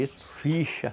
Isso, ficha.